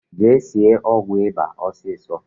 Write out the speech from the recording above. Jee sie ọgwụ ịba ọsọọsọ!